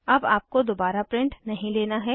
अब आपको दोबारा प्रिंट नहीं लेना है